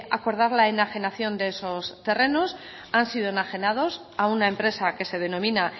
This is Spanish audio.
acordar la enajenación de esos terrenos han sido enajenados a una empresa que se denomina